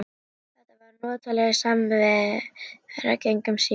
Þetta var notaleg samvera gegnum símann.